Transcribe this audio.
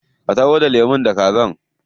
Ka taho da lemu da kaza.